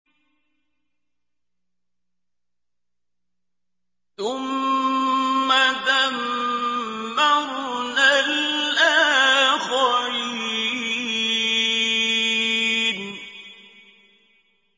ثُمَّ دَمَّرْنَا الْآخَرِينَ